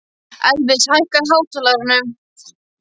Elvis, hækkaðu í hátalaranum.